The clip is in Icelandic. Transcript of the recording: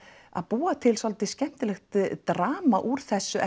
að búa til svolítið skemmtilegt drama úr þessu